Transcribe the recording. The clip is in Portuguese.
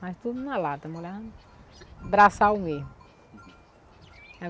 Mas tudo na lata, molhava no no braçal mesmo.